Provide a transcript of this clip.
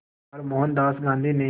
बार मोहनदास गांधी ने